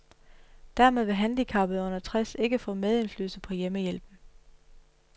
Dermed vil handicappede under tres ikke få medindflydelse på hjemmehjælpen.